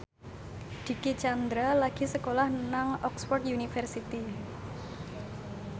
Dicky Chandra lagi sekolah nang Oxford university